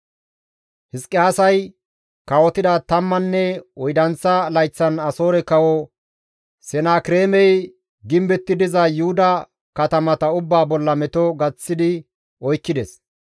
Hizqiyaasay kawotida tammanne oydanththa layththan Asoore kawo Senakireemey gimbetti diza Yuhuda katamata ubbaa bolla meto gaththi oykkides.